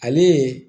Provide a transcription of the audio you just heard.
Ale